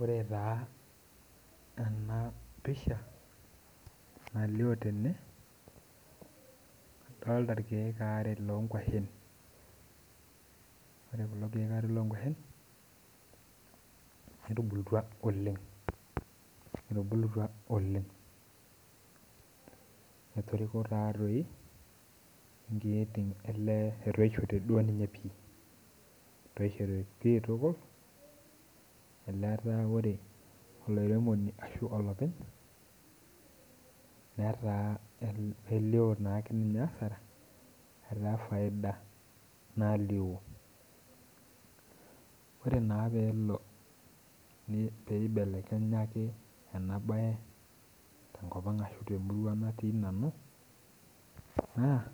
Ore taa enapisha nalio tene, adolta irkeek ware lonkwashen. Ore kulo keek are lonkwashen, netubulutua oleng. Etubulutua oleng. Etoriko tatoi inkiyietin elee etoishote duo ninye pi. Etoishote pi tukul, elee ataa ore olairemoni ashu olopeny, netaa k melio nake ninye asara, etaa faida nalio. Ore naa pelo pibelekenya ake enabae tenkop ang ashu temurua natii nanu, naa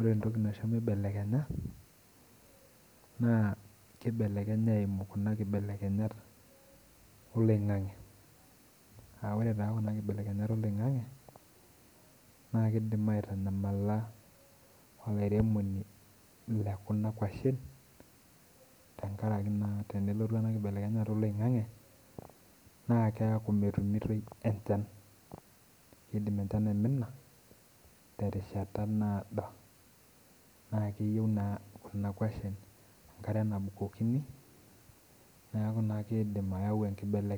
ore entoki naisho mibelekenya, naa kibelekenya eimu kuna kibelekenyat oloing'ang'e. Ah ore taa kuna kibelekenyat oloing'ang'e, na kidim aitanyamala olairemoni lekuna kwashen, tenkaraki naa tenelotu ena kibelekenyata oloing'ang'e, naa keeku metumitoi enchan. Kidim enchan aimina, terishata naado. Na keyieu naa kuna kwashen enkare nabukokini, neeku naa kidim ayau enkibelekeny.